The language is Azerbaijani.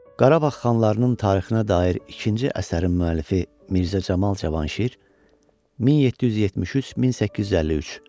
Qarabağ xanlarının tarixinə dair ikinci əsərin müəllifi Mirzə Camal Cavanşir, 1773-1853.